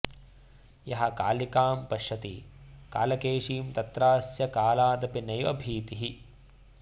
यः कालिकां पश्यति कालकेशीं तत्रास्य कालादपि नैव भीतिः